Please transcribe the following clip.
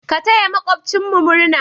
Ka taya maƙwabtan mu murna?